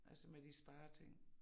Altså med de spareting